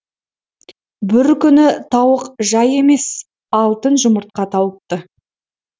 бір күні тауық жай емес алтын жұмыртқа тауыпты